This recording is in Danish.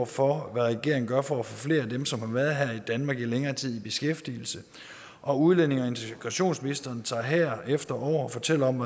for hvad regeringen gør for at få flere af dem som har været her i danmark i længere tid i beskæftigelse og udlændinge og integrationsministeren tager herefter over og fortæller om